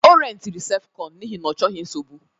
Ọ rentịrị sef kọñ n'ihi na ọ chọghị nsogbu